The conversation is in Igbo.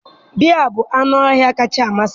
Bear bụ anụ ọhịa kacha amasị m.